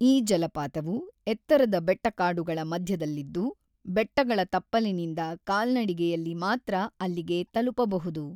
ಈ ಜಲಪಾತವು ಎತ್ತರದ ಬೆಟ್ಟಕಾಡುಗಳ ಮಧ್ಯದಲ್ಲಿದ್ದು ಬೆಟ್ಟಗಳ ತಪ್ಪಲಿನಿಂದ ಕಾಲ್ನಡಿಗೆಯಲ್ಲಿ ಮಾತ್ರ ಅಲ್ಲಿಗೆ ತಲುಪಬಹುದು.